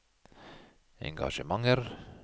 engasjementer